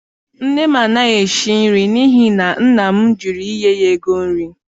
Nne m anaghị esi nri n'ihi na nna m jụrụ inye ya ego nri